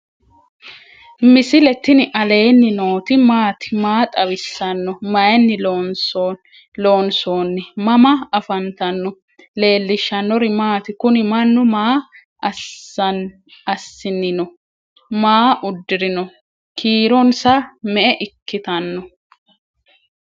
misile tini alenni nooti maati? maa xawissanno? Maayinni loonisoonni? mama affanttanno? leelishanori maati? kuuni manu maa asni no ?maa udurino? kiironsa me"eiikitano?